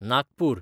Nagpur